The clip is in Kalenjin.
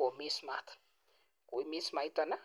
nekimisen Matt koimis maitani